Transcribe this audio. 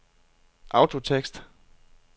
autotekst